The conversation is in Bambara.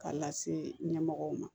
K'a lase ɲɛmɔgɔw ma